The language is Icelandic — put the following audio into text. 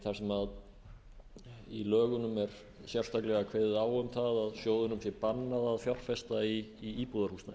þar sem í lögunum er sérstaklega kveðið á um það að sjóðunum sé bannað að fjárfesta í íbúðarhúsnæði